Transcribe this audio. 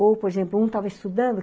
Ou, por exemplo, um estava estudando.